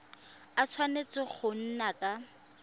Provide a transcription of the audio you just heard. a tshwanetse go nna ka